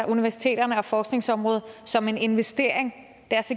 universiteterne og forskningsområdet som en investering